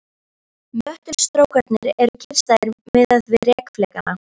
Möttulstrókarnir eru kyrrstæðir miðað við rek flekanna.